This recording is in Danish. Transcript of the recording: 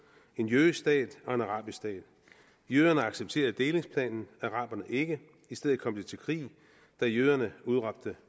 en jødisk stat og en arabisk stat jøderne accepterede delingsplanen araberne ikke i stedet kom det til krig da jøderne udråbte